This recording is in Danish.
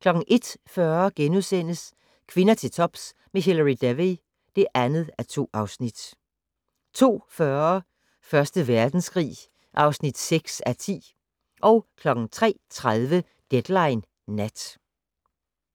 01:40: Kvinder til tops med Hilary Devey (2:2)* 02:40: Første Verdenskrig (6:10) 03:30: Deadline Nat